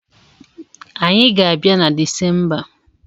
Anyị ga-abia na Desemba